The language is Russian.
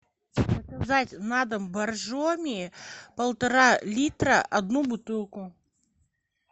заказать на дом боржоми полтора литра одну бутылку